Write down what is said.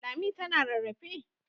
Lami tana rarrafe?